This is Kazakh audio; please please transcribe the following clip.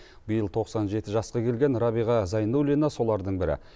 биыл тоқсан жеті жасқа келген рәбиға зайнуллина солардың бірі